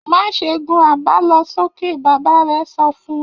Má ṣe gun àbálọsókè! Bàbá rẹ̀ sọ fún un.